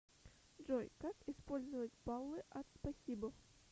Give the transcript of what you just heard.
джой как использовать баллы от спасибо